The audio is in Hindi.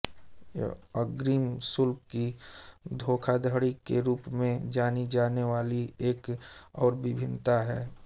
यह अग्रिम शुल्क की धोखाधड़ी के रूप में जानी जाने वाली एक और भिन्नता है